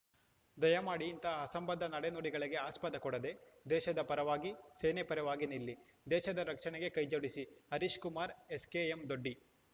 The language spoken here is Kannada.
ದಯಮಾಡಿ ಇಂತಹ ಅಸಂಬದ್ಧ ನಡೆ ನುಡಿಗಳಿಗೆ ಆಸ್ಪದ ಕೊಡದೇ ದೇಶದ ಪರವಾಗಿ ಸೇನೆ ಪರವಾಗಿ ನಿಲ್ಲಿ ದೇಶದ ರಕ್ಷಣೆಗೆ ಕೈಜೋಡಿಸಿ ಹರೀಶ್‌ ಕುಮಾರ್‌ ಎಸ್‌ ಕೆಎಂದೊಡ್ಡಿ